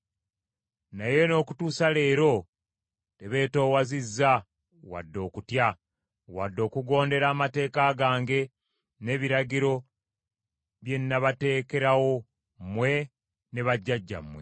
Naye n’okutuusa leero tebeetoowazizza wadde okutya, wadde okugondera amateeka gange n’ebiragiro bye nabateekerawo mmwe ne bajjajjammwe.